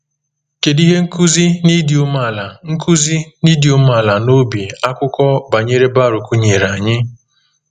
Kedu ihe nkuzi n’ịdị umeala nkuzi n’ịdị umeala n’obi akụkọ banyere Baruk nyere anyị?